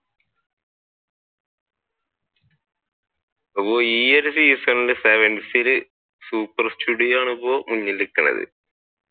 അപ്പൊ ഈ ഒരു സീസണിൽ sevens ഇൽ super studio ആണ് അപ്പൊ മുന്നിൽ നിൽക്കുന്നത്.